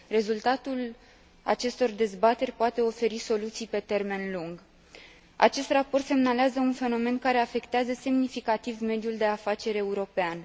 Rezultatul acestor dezbateri poate oferi soluții pe termen lung. Acest raport semnalează un fenomen care afectează semnificativ mediul de afaceri european.